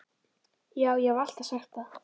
Já, ég haf alltaf sagt það.